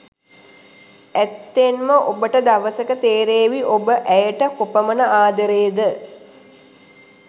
ඇත්තෙන්ම ඔබට දවසක තෙරේවි ඔබ ඇයට කොපමන ආදරේද.